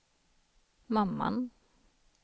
mamman